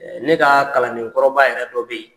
ne kaa kalandenkɔrɔba yɛrɛ dɔ be yen.